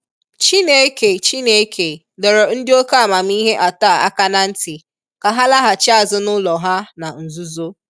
Chineke Chineke dọrọ ndi oke amamihe atọ a aka na nti ka ha laghachi azụ n'ụlọ ha na nzuzo.